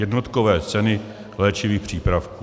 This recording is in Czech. Jednotkové ceny léčivých přípravků.